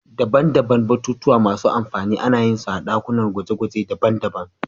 Daban-daban batutuwa masu amfani ana yin su a dakunan gwaje-gwaje daban-daban.